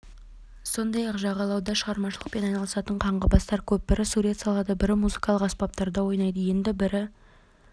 сондай-ақ жағалауда шығармашылықпен айналысатын қаңғыбастар көп бірі сурет салады бірі музыкалық аспапта ойнайды енді бірі